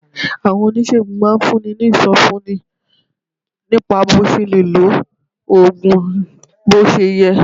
Àwọn oníṣègùn oògùn máa ń fúnni ní ìsọfúnni nípa bó o ṣe lè lo oògùn bó ṣe yẹ